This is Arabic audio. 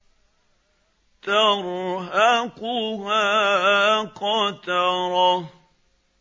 تَرْهَقُهَا قَتَرَةٌ